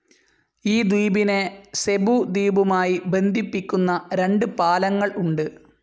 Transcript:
ഈ ദ്വീപിനെ സെബു ദ്വീപുമായി ബന്ധിപ്പിക്കുന്ന രണ്ടു പാലങ്ങൾ ഉണ്ട്.